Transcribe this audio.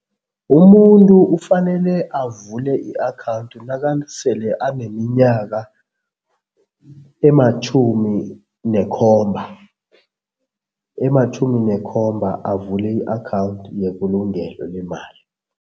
Umuntu ufanele avule i-akhawundi nakasele aneminyaka ematjhumi nekhomba, ematjhumi nekhomba, avule i-akhawundi yebulungelo lemali.